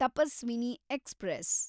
Tapaswini express